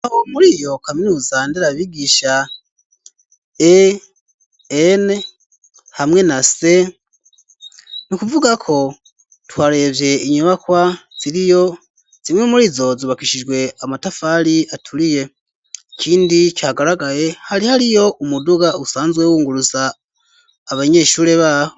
Aho muri iyo kaminuza nderabigisha E,N, hamwe na se ,ni kuvuga ko twarevye inyubakwa ziriyo zimwe muri zo, zubakishijwe amatafali aturiye ,ikindi cagaragaye, hari hariyo umuduga usanzwe wunguruza abanyeshure baho.